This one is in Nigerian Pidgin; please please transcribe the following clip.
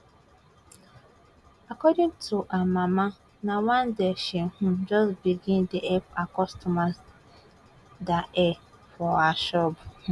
according to her mama na one day she um just begin dey help her make customers dia hair for her shop um